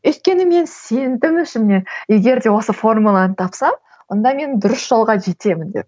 өйткені мен сендім ішімнен егер де осы формуланы тапсам онда мен дұрыс жолға жетемін деп